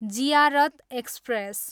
Ziarat express